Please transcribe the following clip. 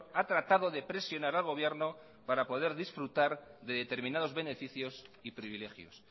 ha tratado de presionar al gobierno para poder disfrutar de determinados beneficios y privilegios